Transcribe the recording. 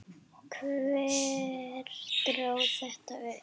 Hver dró þetta upp?